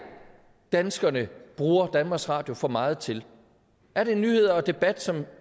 danskerne bruger danmarks radio for meget til er det nyheder og debat som